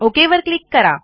okay वर click करा